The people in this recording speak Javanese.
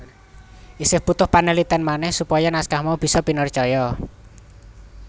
Isih butuh panalitèn manèh supaya naskah mau bisa pinercaya